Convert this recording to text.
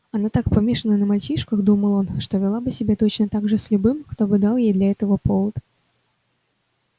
она так помешана на мальчишках думал он что вела бы себя точно так же с любым кто бы дал ей для этого повод